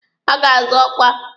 Ha ga-azọ ọkwa.